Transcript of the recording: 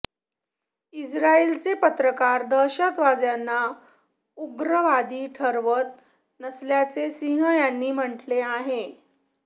इस्रायलचे पत्रकार दहशतवाद्यांना उग्रवादी ठरवत नसल्याचे सिंग यांनी म्हटले आहे